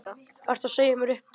Ertu að segja mér upp?